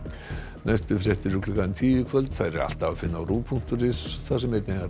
næstu fréttir klukkan tíu í kvöld þær er alltaf að finna á punktur is þar sem